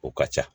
O ka ca